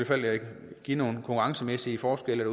fald give nogle konkurrencemæssige forskelle